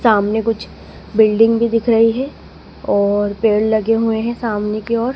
सामने कुछ बिल्डिंग भी दिख रही है और पेड़ लगे हुए है सामने की ओर--